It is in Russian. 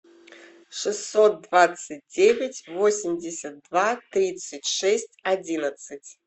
шестьсот двадцать девять восемьдесят два тридцать шесть одиннадцать